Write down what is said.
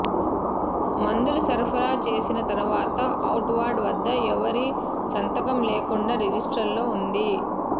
మందులు సరఫరా చేసిన తర్వాత ఔట్ వార్డ్ వద్ద ఎవరి సంతకం లేకుండా రిజిస్టర్లో ఉంది